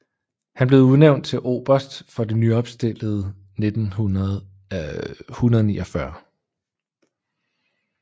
Han blev udnævnt til oberst for det nyopstillede 149